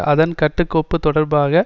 அதன் கட்டுக்கோப்பு தொடர்பாக